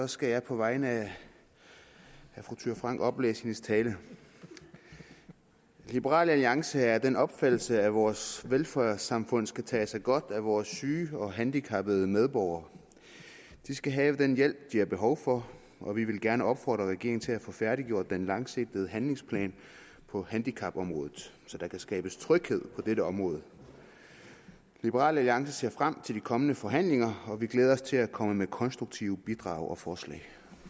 skal jeg på vegne af fru thyra frank oplæse hendes tale liberal alliance er af den opfattelse at vores velfærdssamfund skal tage sig godt af vores syge og handicappede medborgere de skal have den hjælp de har behov for og vi vil gerne opfordre regeringen til at få færdiggjort den langsigtede handlingsplan på handicapområdet så der kan skabes tryghed på dette område liberal alliance ser frem til de kommende forhandlinger og vi glæder os til at komme med konstruktive bidrag og forslag